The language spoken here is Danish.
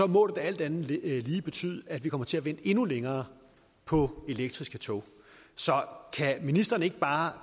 må det da alt andet lige betyde at vi kommer til at vente endnu længere på elektriske tog så kan ministeren ikke bare